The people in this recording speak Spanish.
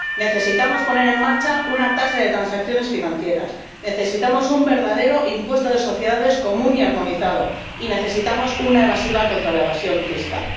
Necesitamos poner en marcha una tasa de transacciones financieras, necesitamos un verdadero impuesto de sociedades común y armonizado y necesitamos una evasiva contra la evasión fiscal.